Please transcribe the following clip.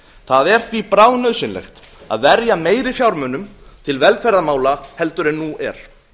það er því bráðnauðsynlegt að verja meiri fjármunum til velferðarmála heldur en nú er